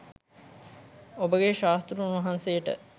ඔබගේ ශාස්තෘන් වහන්සේට